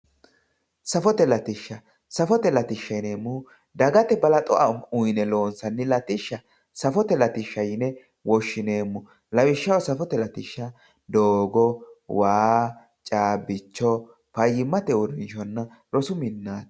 safote latishsha yineemmohu dagate balaxo uyine loonsaynni latishsha safote latishsha yineemmo lawishshaho safote laisshshi